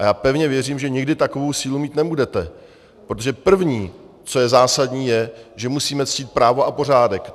A já pevně věřím, že nikdy takovou sílu mít nebudete, protože první, co je zásadní, je, že musíme ctít právo a pořádek.